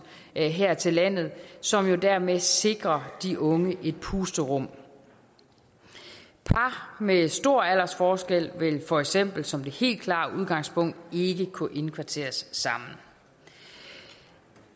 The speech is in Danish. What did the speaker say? her til landet som dermed sikrer de unge et pusterum par med stor aldersforskel vil for eksempel som det helt klare udgangspunkt ikke kunne indkvarteres sammen